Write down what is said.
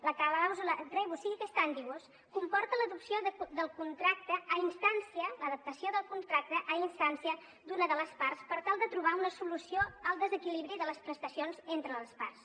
la clàusula rebus sic stantibus comporta l’adaptació del contracte a instància d’una de les parts per tal de trobar una solució al desequilibri de les prestacions entre les parts